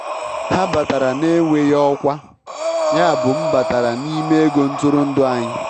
Ha batara na-enweghị ọkwa, yabụ m batara n'ime ego ntụrụndụ anyị.